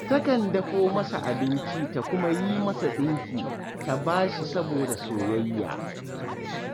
Takan dafo masa abinci ta kuma yi masa ɗinki ta ba shi saboda soyayya